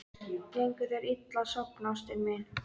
Gengur þér illa að sofna, ástin mín?